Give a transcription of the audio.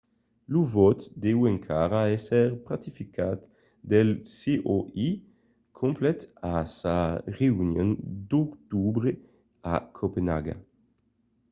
lo vòte deu encara èsser ratificat pel coi complet a sa reünion d’octobre a copenaga